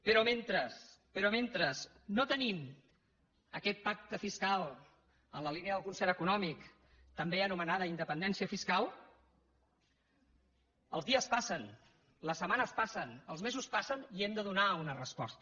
però mentre no tenim aquest pacte fiscal en la línia del concert econòmic també anomenada independència fiscal els dies passen les setmanes passen els mesos passen i hem de donar una resposta